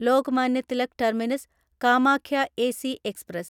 Lokmanya Tilak terminus Kamakhya AC express